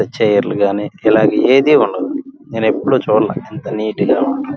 ఇందులో చైర్ లు గాని ఇలాంటివి ఏది ఉండదు నేను ఎప్పుడు చూడలే ఇంత నేయట గా.